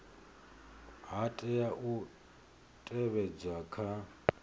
ha tea u teavhedzwa kha